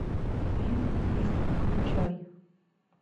фильм диско включай